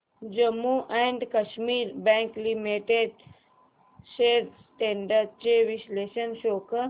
Jammu and Kashmir bank limited shares trends चे विश्लेषण show कर